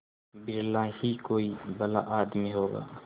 बिरला ही कोई भला आदमी होगा